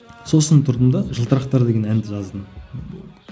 сосын тұрдым да жылтырықтар деген әнді жаздым